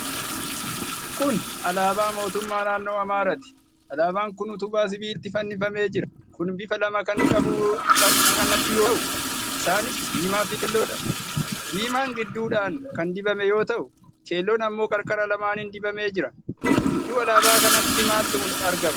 Kun alaabaa Mootummaa Naannoo Amaaraati. Alaabaan kun utubaa sibiilaatti fannifamee jira. kun bifa lama kan qabdu yoo ta'u, isaanis diimaa fi keelloodha. Diimaan gidduudhaan kan dibame yoo ta'u keelloon ammoo qarqara lamaaniin dibamee jira. Gidduu alaabaa kanaatti maaltu argama?